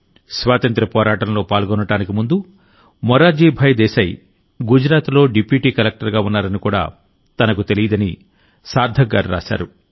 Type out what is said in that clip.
స్వాతంత్ర్య పోరాటంలో పాల్గొనడానికి ముందు మొరార్జీ భాయ్ దేశాయ్ గుజరాత్లో డిప్యూటీ కలెక్టర్గా ఉన్నారని కూడా తనకు తెలియదని సార్థక్ గారు రాశారు